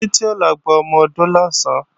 Títí ó lọ gba ọmọ-odó lọ̀sán